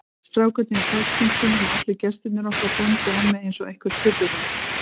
Strákarnir í Sæskrímslunum og allir gestirnir okkar góndu á mig einsog eitthvert furðuverk.